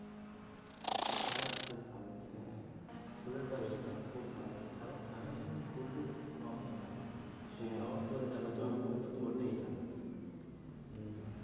হ্যাঁ, খুব ভালো হ্যাঁ ফুলের ব্যবসাটাও খুব ভালো এখন ঠান্ডার সময় তো ফুল টুল একটু কমই হয় হ্যাঁ, জবা ফুল তো ফোটেই না উম